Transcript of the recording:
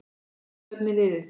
Hvert stefnir liðið?